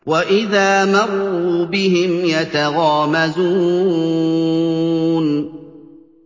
وَإِذَا مَرُّوا بِهِمْ يَتَغَامَزُونَ